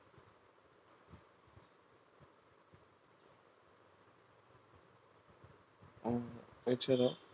এছাড়াও